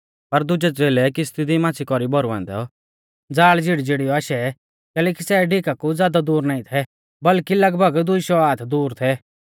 पर दुजै च़ेलै किश्ती दी माच़्छ़ी कौरी भौरुऐ औन्दौ ज़ाल़ झिड़ीझिड़ीऔ आशै कैलैकि सै डिका कु ज़ादै दूर नाईं थै बल्कि लगभग दुई शौ हाथ दूर थै